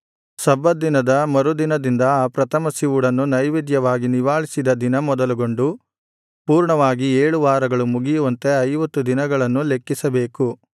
ಸಬ್ಬತ್ ದಿನದ ಮರುದಿನದಿಂದ ಆ ಪ್ರಥಮ ಸಿವುಡನ್ನು ನೈವೇದ್ಯವಾಗಿ ನಿವಾಳಿಸಿದ ದಿನ ಮೊದಲುಗೊಂಡು ಪೂರ್ಣವಾಗಿ ಏಳು ವಾರಗಳು ಮುಗಿಯುವಂತೆ ಐವತ್ತು ದಿನಗಳನ್ನು ಲೆಕ್ಕಿಸಬೇಕು